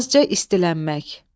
Azca istilənmək.